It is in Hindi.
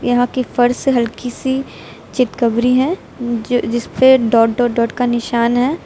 यहां की फर्श हल्की सी चितकबरी है जो जिसपे डॉट डॉट डॉट का निशान है।